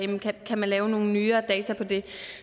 kan man lave nogle nyere data på det